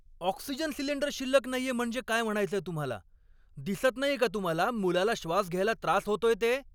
Oxygen cylinder शिल्लक नाहीये म्हणजे काय म्हणायचंय तुम्हाला? दिसत नाहीये का तुम्हाला मुलाला श्वास घ्यायला त्रास होतोय ते?